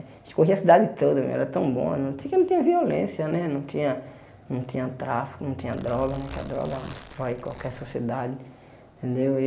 A gente corria a cidade toda, era tão bom, não tinha muita violência né, não tinha não tinha tráfico, não tinha droga né, que a droga destrói qualquer sociedade, entendeu?